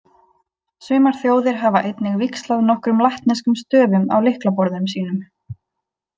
Sumar þjóðir hafa einnig víxlað nokkrum latneskum stöfum á lyklaborðum sínum.